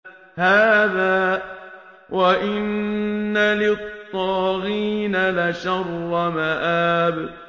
هَٰذَا ۚ وَإِنَّ لِلطَّاغِينَ لَشَرَّ مَآبٍ